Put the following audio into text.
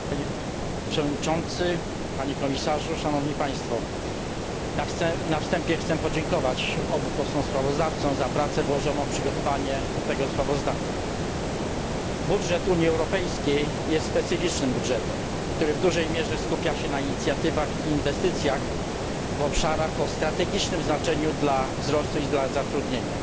Panie Przewodniczący! Panie Komisarzu! Szanowni Państwo! Na wstępie chcę podziękować obu posłom sprawozdawcom za pracę włożoną w przygotowanie tego sprawozdania. Budżet Unii Europejskiej jest specyficznym budżetem, który w dużej mierze skupia się na inicjatywach i inwestycjach w obszarach o strategicznym znaczeniu dla wzrostu i dla zatrudnienia.